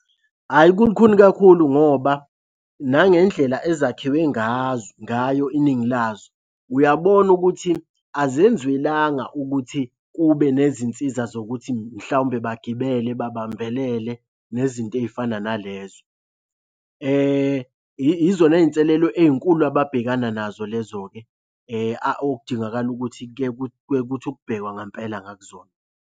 Hhayi kulukhuni kakhulu ngoba nangendlela ezakhiwe ngazo, ngayo iningi lazo, uyabona ukuthi azenziwelanga ukuthi kube nezinsiza zokuthi mhlawumbe bagibele babambelele nezinto ey'fana nalezo. Izona y'nselelo ey'nkulu ababhekana nazo lezo-ke okudingakala ukuthi kuke kuthi ukubhekwa ngempela ngakuzona.